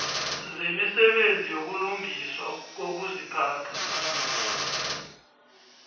zemisebenzi yokulungiswa kokuziphatha